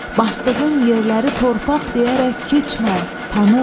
Basdığın yerləri torpaq deyərək keçmə, tanı.